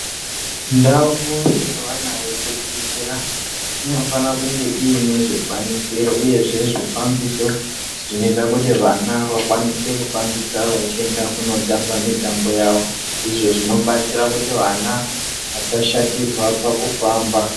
Ndau yevana yekudzidzira inofana kunge iine zvikwanisiro uyezve zvifambiso zvinoita kuti vana vakwanise kufambisa vachienda kundotamba mitambo yavo izvo zvinobatsira kuti vana vasashatirwa pakufamba.